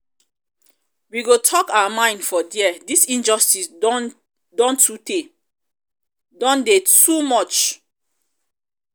we go talk our mind for there dis injustice don um dey too um much. um um much. um